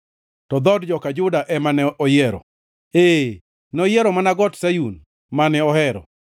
to dhood joka Juda ema ne oyiero, ee, noyiero mana Got Sayun, mane ohero.